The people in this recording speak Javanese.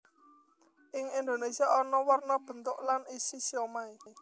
Ing Indonésia ana werna bentuk lan isi siomai